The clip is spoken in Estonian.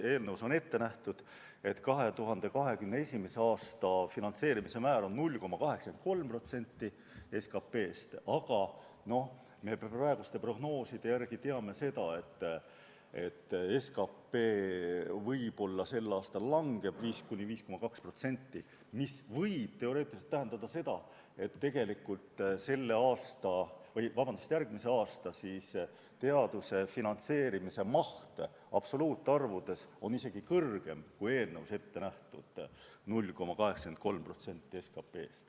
Eelnõus on ette nähtud, et 2021. aasta finantseerimise määr on 0,83% SKT-st, aga praeguste prognooside järgi me teame seda, et SKT sel aastal võib-olla langeb 5–5,2%, mis võib teoreetiliselt tähendada seda, et tegelikult on järgmisel aastal teaduse finantseerimise maht absoluutarvudes isegi suurem, kui eelnõus ette nähtud 0,83% SKT-st.